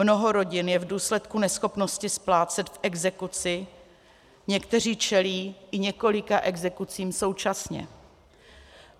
Mnoho rodin je v důsledku neschopnosti splácet v exekuci, někteří čelí i několika exekucím současně.